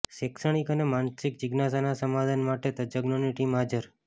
શૈક્ષણિક અને માનસિક જિજ્ઞાસાના સમાધાન માટે તજજ્ઞોની ટીમ હાજર